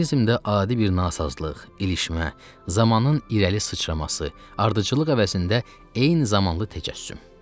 Mexanizmdə adi bir nasazlıq, ilişmə, zamanın irəli sıçraması, ardıcıllıq əvəzində eyni zamanlı təcəssüm.